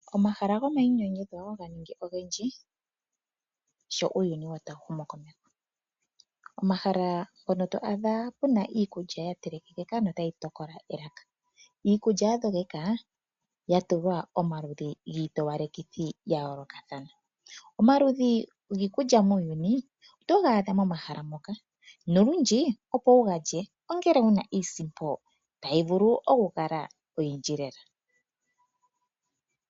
Omahala gomayinyanyudho ga ningi ogendji sho uuyuni woo tawu humu komeho. Omahala hono to adha kuna iikulya ya telekeka notayi tokola elaka. Iikulya ya dhogeka ya tulwa omaludhi giitowalekithi ya yoolokathana. Omaludhi giikulya muuyuni oto ga adha momahala moka, nolundji opo wu ga lye ongele wuna iisimpo tayi vulu okukala oyindji lela.